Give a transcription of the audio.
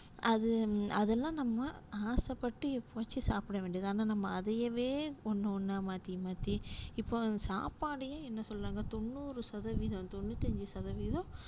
அது அதுலா நம்ம ஆசைப்பட்டு எப்போவாச்சும் சாப்டவேண்டியதுதான் ஆனா நம்ம அதையவே ஒன்னொன்னா மாத்தி மாத்தி இப்போ சாப்பாடையே என்ன சொல்றாங்க தொண்ணூறு சதவீதம் தொண்ணுத்தஞ்சு சதவீதம்